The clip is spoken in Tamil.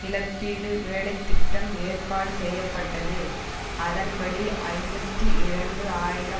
இழப்பீடு வேலை திட்டம் ஏற்பாடு செய்ய பட்டது அதன்படி ஐம்பத்தி இரண்டு ஆயிரம்